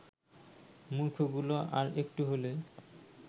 মূর্খগুলো আর একটু হলে